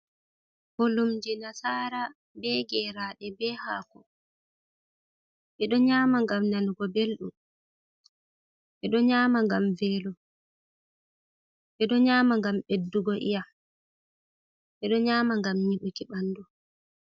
Bullumje nasara be gerade be hako. Beɗo nyama ngam nanugo beldum, bedo nyama gam veelo, beɗo nyama ngam beddugo iyyam, beɗo nyama ngam nyibuki bandu.